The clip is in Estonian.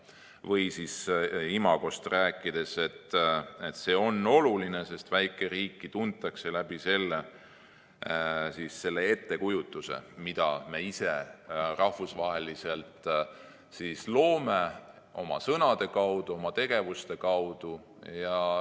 Või imagost rääkides, et see on oluline, sest väikeriiki tuntakse selle ettekujutuse kaudu, mida me ise rahvusvaheliselt loome oma sõnade, oma tegevuste abil.